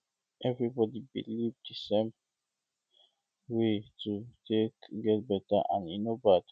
no be um everybody believe the same way um to take um get better and e no bad